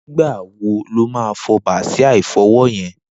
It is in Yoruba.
Nigbá wó ló mà fọ bàsiá ifọwọ yèn?